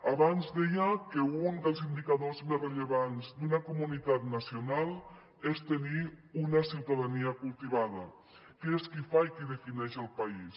abans deia que un dels indicadors més rellevants d’una comunitat nacional és tenir una ciutadania cultivada que és qui fa i qui defineix el país